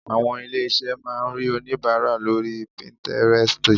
Àwọn ilé-iṣé máa rí onìbàárà lóri píntírẹstì.